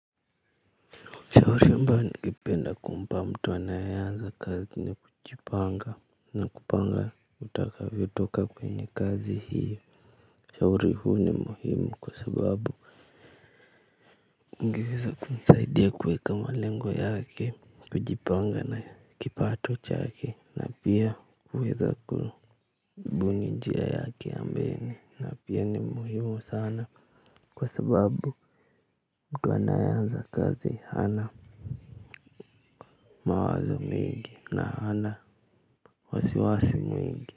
Shauri ambayo ningependa kumpa mtu anayeanza kazi ni kujipanga. Na kupanga utakavytoka kwenye kazi hiyo. Ushauri huu ni muhimu kwa sababu, ungeweza kumsaidia kuweka malengo yake, kujipanga na kipato chake na pia kuweza kubuni njia yake mbele na pia ni muhimu sana, kwa sababu, mtu anayeanza kazi hana, mawazo mingi na hana wasi wasi mwingi.